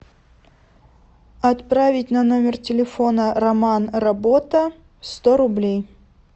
отправить на номер телефона роман работа сто рублей